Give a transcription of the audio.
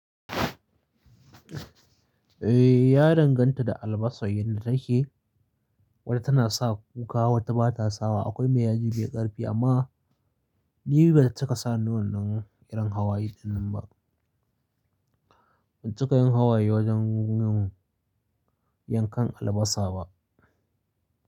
Eh, ya danganta da albasar yanda take, wata tana sa kuka wata ba ta sawa. Akwai me yaji me ƙarfi amma ni bai cika sa ni wannan irin hawaye ɗinnan ba. Ban cika yin hawaye wajen yin yankan albasa ba.